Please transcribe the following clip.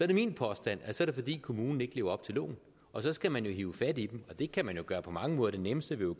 det min påstand at så er det fordi kommunen ikke lever op til loven og så skal man hive fat i dem og det kan man jo gøre på mange måder den nemmeste vil